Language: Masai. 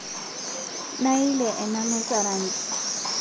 Naelie ana meza rangi